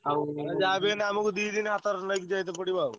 ଯାହାବି ହେଲେ ଆମୁକୁ ଦିଦିନି ହାତରେ ନେଇତେ ଯାଇତେ ପଡିବ ଆଉ।